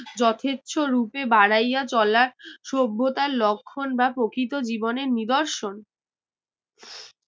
যথেচ্ছ রূপে বাড়াইয়া চলা সভ্যতার লক্ষণ বা প্রকৃত জীবনের নিদর্শন